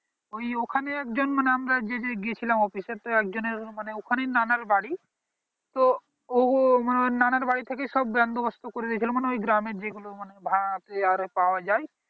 ওই ওখানেই এক জন মানে আমরা যে যে গিয়েছিলাম office এর তো এক জনের ওখানে ই নানার বাড়ি তো ও নানার বাড়ি থেকে সব বন্দোবস্ত করে এলো মানে ওই গ্রামে যে গুলো ভাত এইবার আরো পাওয়া যায়